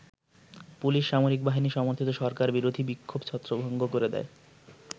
Police সামরিক বাহিনী সমর্থিত সরকার বিরোধী বিক্ষোভ ছত্রভঙ্গ করে দেয়।